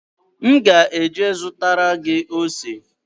M ga-eje zụtara gị ose